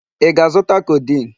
Ị ga-azụta codeine?